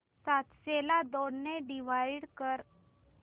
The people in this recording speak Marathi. सातशे ला दोन ने डिवाइड कर